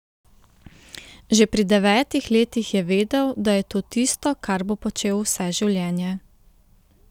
Že pri devetih letih je vedel, da je to tisto, kar bo počel vse življenje.